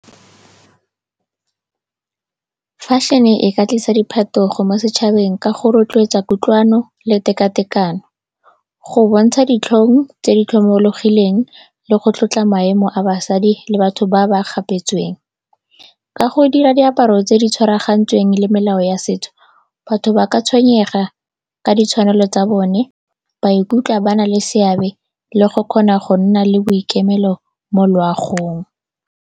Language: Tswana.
Fashion-e e ka tlisa diphetogo mo setšhabeng ka go rotloetsa kutlwano le tekatekano, go bontsha ditlhong tse di tlhomologileng le go tlotla maemo a basadi le batho ba ba gapetsweng. Ka go dira diaparo tse di tshwaragantsweng le melao ya setso, batho ba ka tshwenyega ka ditshwanelo tsa bone, ba ikutlwa ba na le seabe le go kgona go nna le boikemelo mo loagong.